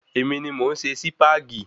Èmi ni mọ̀ ń se Sipagi